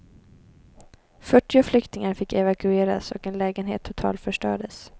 Fyrtio flyktingar fick evakueras och en lägenhet totalförstördes.